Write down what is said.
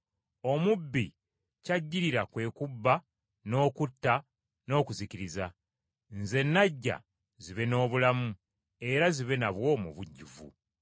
Omubbi ky’ajjirira kwe kubba n’okutta n’okuzikiriza. Nze najja, zibe n’obulamu, era zibe nabwo mu bujjuvu.